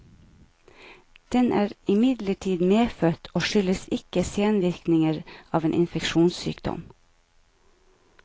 Den er imidlertid medfødt og skyldes ikke senvirkninger av en infeksjonssykdom.